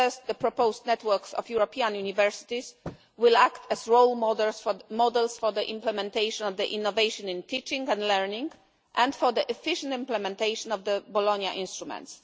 First, the proposed networks of European universities will act as role models for the implementation of the innovation in teaching and learning, and for the efficient implementation of the Bologna instruments.